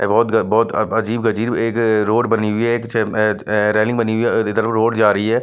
एक बौत बहुत अजीब अजीब एक रोड बनी हुई ए-ए रेलिंग बनी हुई है इधर रोड जा रही है।